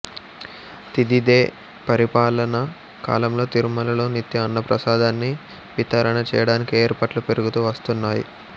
తితిదే పరిపాలన కాలంలో తిరుమలలో నిత్యం అన్నప్రసాదాన్ని వితరణ చేయడానికి ఏర్పాట్లు పెరుగుతూ వస్తున్నాయి